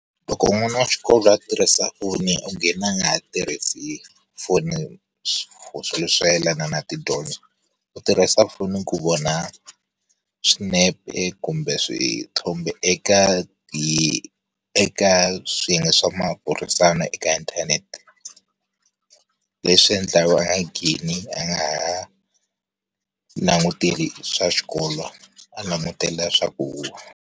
Loko n'wana wa xikolo a tirhisa foni u gina a nga ha tirhisi foni for swilo swo yelena na tidyondzo. U tirhisa foni ku vona, swinepe kumbe swithombe eka ti eka swiyenge swa maburisano eka inthanete. Leswi endlaku a nga ngheni a nga ha, languteli swa xikolo a langutela swa ku huha.